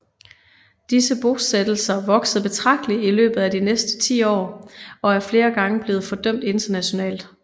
Disse bosættelser voksede betragteligt i løbet af de næste tiår og er flere gange blevet fordømt internationalt